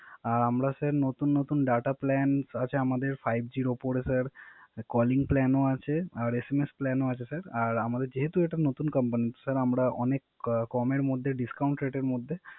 আমরা স্যার নতুন নতুন Data plan আছে আমাদের five G এর উপরে স্যার Calling plan ও আছে আর SMS Plan ও আছে স্যার আর আমাদের যেহেতু এটা নতুন কোম্পানি স্যার আমরা অনেক কমের মধ্যে Discount rate এর মধ্যে